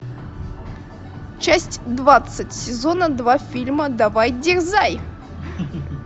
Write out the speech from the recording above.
часть двадцать сезона два фильма давай дерзай